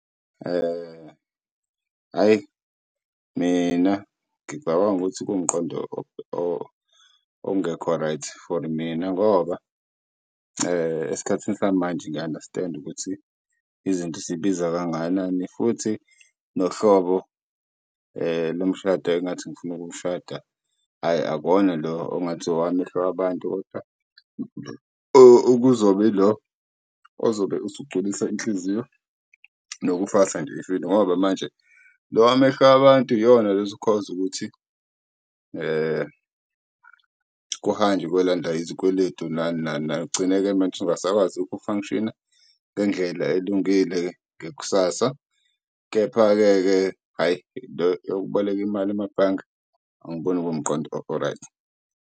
Hhayi, mina ngicabanga ukuthi kuwumqondo ongekho right for mina ngoba esikhathini samanje ngiya-understand-a ukuthi izinto sey'biza kangakanani futhi nohlobo lomshado engathi ngifuna ukuwushada, hhayi, akuwona lo ongathi owamehlo wabantu. Kodwa okuzoba yilo ozobe usugculisa inhliziyo nokufasa nje ifindo ngoba manje lo wamehlo wabantu yiwona lo ozo-cause-a ukuthi kuhanjwe kuyolandwa izikweletu nani nani. Ugcine-ke manje ungasakwazi uku-function-a ngendlela elungile ngekusasa. Kepha-ke hhayi, le eyokuboleka imali emabhange, angiboni kuwumqondo o-right.